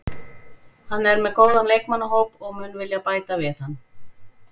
Hann er með góðan leikmannahóp og mun vilja bæta við hann.